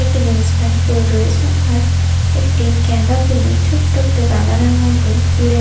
একটি jeans pant পরে রয়েছে আর একটি গাঁদা ফুলের ছোট্ট একটা বাগানের মধ্যে ফুলের --